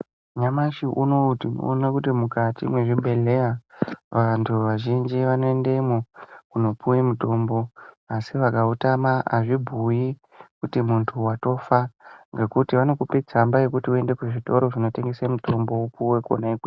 Nyamashi uno tinoona kuti mukati mwezvibhedhlera vantu vazhinji vanoendamo kunopuwa mutombo asi vakautama azvibhuyi kuti muntu watofa ngekuti vanokupa tsamba yekuti uyende kuzvitoro zvinotengeswa mutombo wopuwa konaikweyo